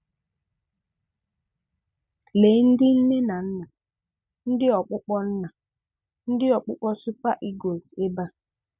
Lèe ndị nne na nna ndị ọ̀kpụkpọ nna ndị ọ̀kpụkpọ Super Eagles ebe a.